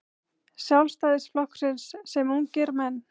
Sjálfstæðisflokksins sem ungir menn.